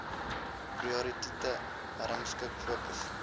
prioriteite herrangskik fokus